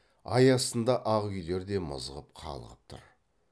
ай астында ақ үйлер де мызғып қалғып тұр